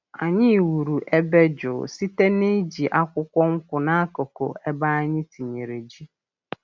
Anyị wuru ebe jụụ site n’iji akwụkwọ nkwụ n’akụkụ ebe anyị tinyere ji.